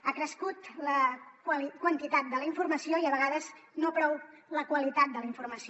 ha crescut la quantitat de la informació i a vegades no prou la qualitat de la informació